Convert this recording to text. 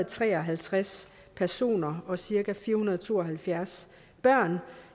tre og halvtreds personer og cirka fire hundrede og to og halvfjerds børn